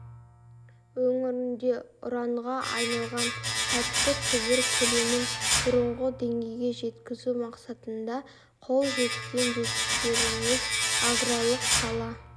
өңірінде ұранға айналған тәтті түбір көлемін бұрынғы деңгейге жеткізу мақсатында қол жеткен жетістіктеріміз аграрлық сала